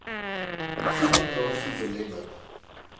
toegang daartoe belemmer